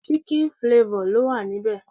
Chicken flavor lo wa níbẹ̀